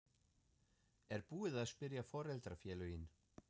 Er búið að spyrja foreldrafélögin?